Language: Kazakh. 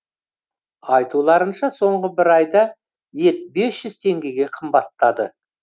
айтуларынша соңғы бір айда ет бес жүз теңгеге қымбаттады